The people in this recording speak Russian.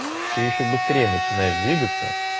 ты ещё быстрее начинаешь двигаться